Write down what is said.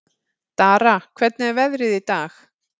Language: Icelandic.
Dara, hvernig er veðrið í dag?